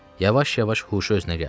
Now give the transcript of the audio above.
Yavaş-yavaş huşu özünə gəldi.